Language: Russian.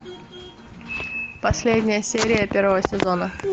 последняя серия первого сезона